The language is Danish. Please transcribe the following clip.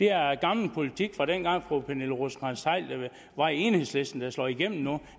er gammel politik fra dengang fru pernille rosenkrantz theil var i enhedslisten der slår igennem nu